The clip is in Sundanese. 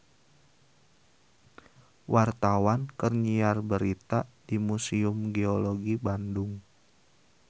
Wartawan keur nyiar berita di Museum Geologi Bandung